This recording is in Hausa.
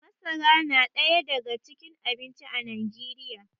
masara na daya daga cikin abinci a najeriya